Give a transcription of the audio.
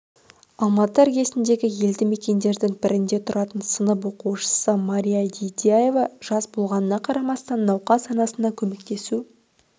алматы іргесіндегі елді мекендердің бірінде тұратын сынып оқушысы мария дидяева жас болғанына қарамастан науқас анасына көмектесу